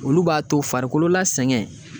Olu b'a to farikolo la sɛgɛn